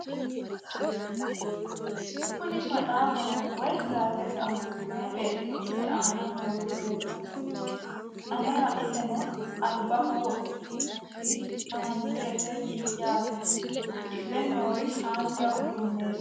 kuni maxaafaho woy gaazeexaho meya beetto isi aana nooti leeltanni noe anera iseno albaho wodhite nootia manaxirete yaate udidhe nooori haanja uduunneeti